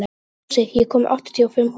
Fúsi, ég kom með áttatíu og fimm húfur!